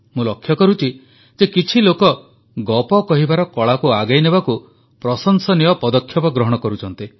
ମୁଁ ଲକ୍ଷ୍ୟ କରୁଛି ଯେ କିଛି ଲୋକ ଗପ କହିବାର କଳାକୁ ଆଗେଇ ନେବାକୁ ପ୍ରଶଂସନୀୟ ପଦକ୍ଷେପ ଗ୍ରହଣ କରୁଛନ୍ତି